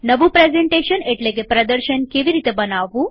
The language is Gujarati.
નવું પ્રેઝન્ટેશન એટલેકે પ્રદર્શન કેવી રીતે બનાવવું